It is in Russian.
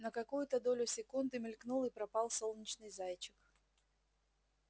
на какую-то долю секунды мелькнул и пропал солнечный зайчик